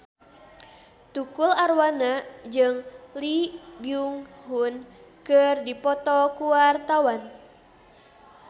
Tukul Arwana jeung Lee Byung Hun keur dipoto ku wartawan